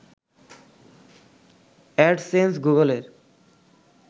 AdSense গুগলের